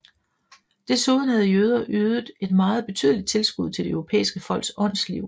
Desuden havde jøder ydet et meget betydeligt tilskud til de europæiske folks åndsliv